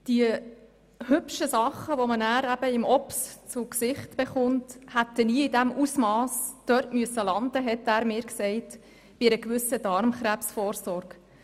Die «hübschen Dinge» die man im OP zu sehen bekommt, hätten bei einer entsprechenden Darmkrebsvorsorge niemals in dem Ausmass dort landen müssen.